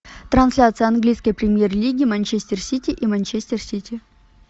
трансляция английской премьер лиги манчестер сити и манчестер сити